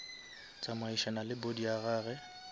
tsamaišana le body ya gage